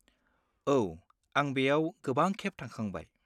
औ, आं बेयाव गोबांखेब थांखांबाय।